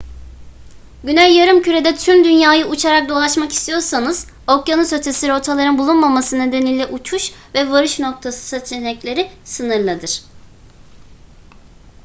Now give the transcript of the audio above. güney yarımkürede tüm dünyayı uçarak dolaşmak istiyorsanız okyanus ötesi rotaların bulunmaması nedeniyle uçuş ve varış noktası seçenekleri sınırlıdır